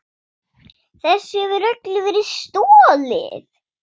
Þessu hefur öllu verið stolið!